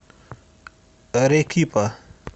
арекипа